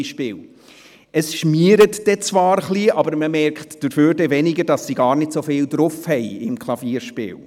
Zwar schmiert es etwas, dafür bemerkt man aber weniger, dass sie im Klavierspiel gar nicht so viel drauf haben.